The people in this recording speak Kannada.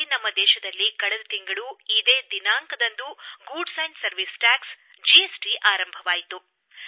ನಮ್ಮ ದೇಶದಲ್ಲಿ ಕಳೆದ ತಿಂಗಳು ಇದೇ ದಿನಾಂಕದಂದು ಸರಕುಗಳು ಮತ್ತು ಸೇವಾ ತೆರಿಗೆ ಜಿಎಸ್ಟಿ ಜಾರಿಗೆ ಬಂತು